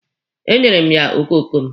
E nyere m ya okoko m.